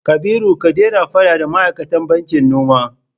Kabiru ka daina faɗa da ma'aikatan bankin noma!